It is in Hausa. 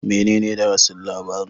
Menene darasin labarin